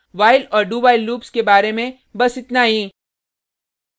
while और dowhile loops के बारे में बस इतना ही